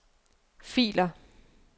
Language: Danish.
filer